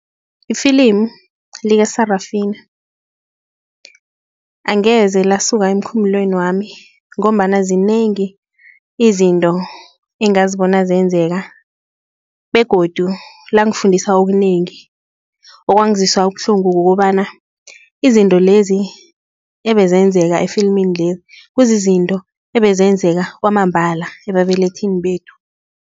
Ifilimu lika-Sarafina angeze lasuka emkhumbulweni wami ngombana zinengi izinto engazibona zenzeka begodu langifundisa okunengi okwangizwisa ubuhlungu kukobana, izinto lezi ebezenzeka efilimini-leli kuzizinto ebezenzeka kwamambala ebabelethini bethu.